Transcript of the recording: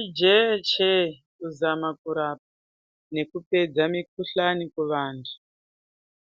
Ijechee kuzama kurapa nekupedza mikhuhlani kuvanhu,